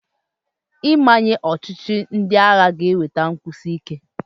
Ịmanye ọchịchị ndị agha ga-eduga nkwụsi ike.